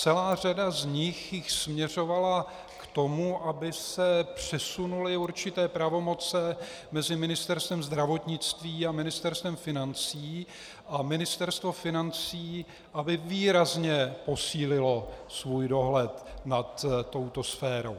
Celá řada z nich jich směřovala k tomu, aby se přesunuly určité pravomoci mezi Ministerstvem zdravotnictví a Ministerstvem financí a Ministerstvo financí aby výrazně posílilo svůj dohled nad touto sférou.